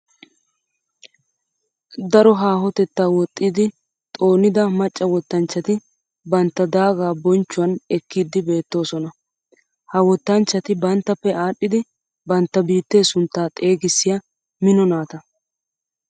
Daro haahotetta woxxiddi xoonidda maca wottanchchatti bantta daaga bonchchuwan ekkiddi besoosonna. Ha wottanchchatti banttappe aadhdhiddi bantta biitte suntta xeegissiya mino naata.